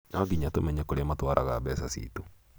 nonginya tũmenye kũrĩa matwaraga mbeca ciitũ